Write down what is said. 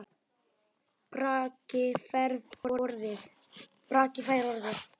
Bragi fær orðið